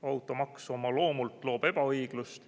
Automaks oma loomult loob ebaõiglust.